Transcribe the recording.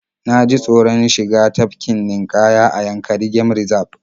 Na ji taoron shiga tafkin ninƙaya a Yankari game Reserve